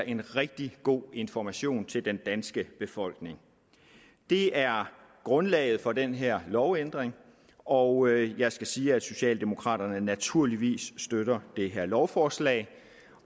en rigtig god information til den danske befolkning det er grundlaget for den her lovændring og jeg skal sige at socialdemokraterne naturligvis støtter det her lovforslag